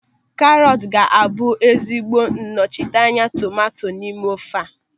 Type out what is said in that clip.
Karọt ga-abụ ezigbo nnọchiteanya tomanto n'ime ofe a.